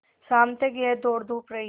शाम तक यह दौड़धूप रही